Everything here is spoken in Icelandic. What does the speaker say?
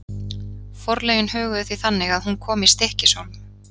Forlögin höguðu því þannig að hún kom í Stykkishólm.